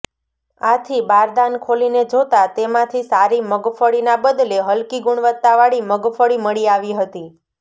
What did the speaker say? આથી બારદાન ખોલીને જોતા તેમાંથી સારી મગફળીના બદલે હલકી ગુણવત્તા વાળી મગફળી મળી આવી હતી